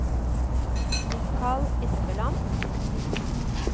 Mikal Espeland